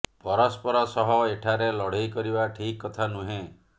ପରସ୍ପର ସହ ଏଠାରେ ଲଢ଼େଇ କରିବା ଠିକ୍ କଥା ନୁହେଁ